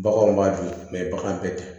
Baganw b'a dun bagan tɛ